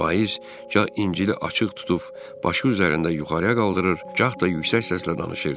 Vaiz gah incili açıq tutub başı üzərində yuxarıya qaldırır, gah da yüksək səslə danışırdı.